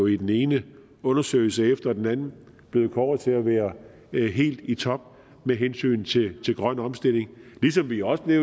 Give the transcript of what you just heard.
i den ene undersøgelse efter den anden blevet kåret til at være helt i top med hensyn til grøn omstilling ligesom vi også blev